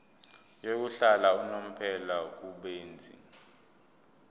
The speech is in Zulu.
yokuhlala unomphela kubenzi